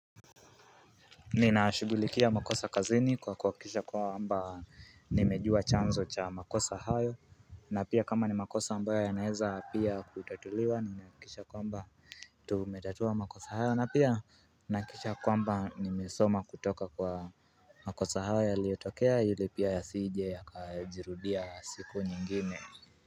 Ninashugulikia makosa kazini kwa kuhakikisha kwamba nimejua chanzo cha makosa hayo na pia kama ni makosa ambayo yanaeza pia kutatuliwa ninahakikisha kwamba Tumetatua makosa hayo na pia nahakisha kwamba nimesoma kutoka kwa makosa hayo yaliotokea yule pia yasije yakajirudia siku nyingine.